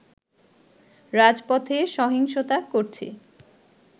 রাজপথে সহিংসতা করছে